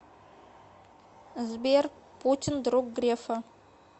сбер путин друг грефа